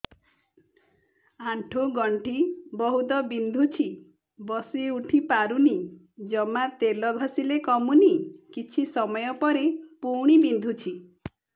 ଆଣ୍ଠୁଗଣ୍ଠି ବହୁତ ବିନ୍ଧୁଛି ବସିଉଠି ପାରୁନି ଜମା ତେଲ ଘଷିଲେ କମୁଛି କିଛି ସମୟ ପରେ ପୁଣି ବିନ୍ଧୁଛି